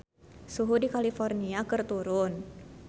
Suhu di California keur turun